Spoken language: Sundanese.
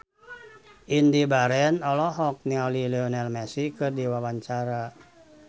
Indy Barens olohok ningali Lionel Messi keur diwawancara